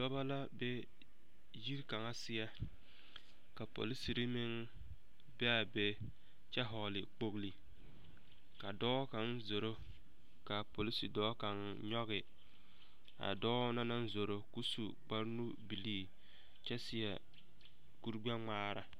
Dɔbɔ la be yiri kaŋa seɛ ka polisiri meŋ be a be kyɛ hɔɔle kpogili ka dɔɔ kaŋ zoro k'a polisi dɔɔ kaŋ nyɔge a dɔɔ na naŋ zoro k'o su kpare nu-bilii kyɛ seɛ kuri gbɛ-ŋmaara.